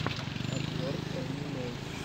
обзор энни мэй